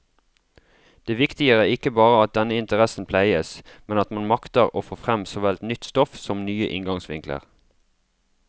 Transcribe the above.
Det viktige er ikke bare at denne interessen pleies, men at man makter få frem såvel nytt stoff som nye inngangsvinkler.